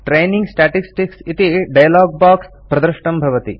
training statistics इति dialog box प्रदृष्टं भवति